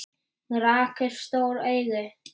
Hún rak upp stór augu.